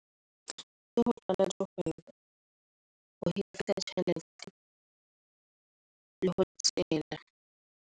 Ke ho qala le ho .